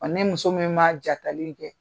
Ne muso min ma jakalen kɛ